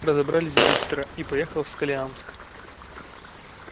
разобрались быстро и поехал в сколиамск